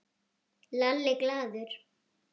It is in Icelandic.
Lalli glaður.